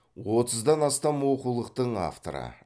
отыздан астам оқулықтың авторы